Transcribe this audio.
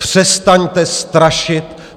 Přestaňte strašit.